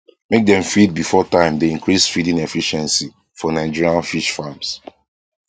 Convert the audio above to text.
make dem feed before time dey increase feeding efficiency for nigerian fish farms